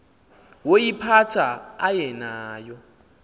woyiphatha aye nayo